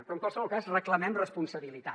però en qualsevol cas reclamem responsabilitat